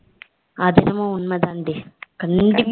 அது என்னமோ உண்மை தான் டி